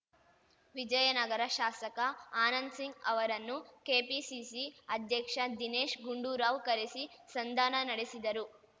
ವಿಜಯನಗರ ಶಾಸಕ ಆನಂದ್‌ಸಿಂಗ್‌ ಅವರನ್ನು ಕೆಪಿಸಿಸಿ ಅಧ್ಯಕ್ಷ ದಿನೇಶ್‌ ಗುಂಡೂರಾವ್‌ ಕರೆಸಿ ಸಂಧಾನ ನಡೆಸಿದರು